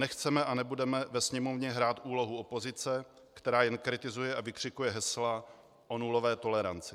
Nechceme a nebudeme ve Sněmovně hrát úlohu opozice, která jen kritizuje a vykřikuje hesla o nulové toleranci.